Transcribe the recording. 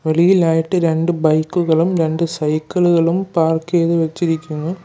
വെളിയിലായിട്ട് രണ്ട് ബൈക്കുകളും രണ്ട് സൈക്കിളുകളും പാർക്ക് ചെയ്തു വെച്ചിരിക്കുന്നു.